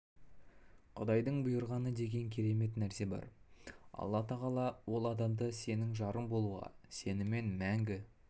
құдайдың бұйрығы деген керемет нәрсе бар алла тағала ол адамды сенің жарың болуға сенімен мәңгі